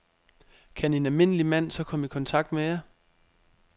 Kan en almindelig mand så komme i kontakt med jer?